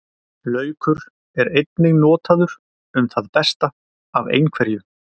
Laukur er einnig notaður um það besta af einhverju.